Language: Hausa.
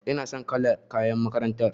Ina son kalar kayan makarantar.